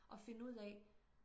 og finde ud af